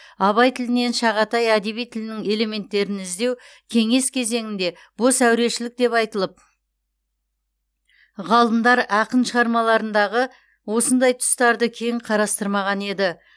абай тілінен шағатай әдеби тілінің элементтерін іздеу кеңес кезеңінде бос әурешілік деп айтылып ғалымдар ақын шығармаларындағы осындай тұстарды кең қарастырмаған еді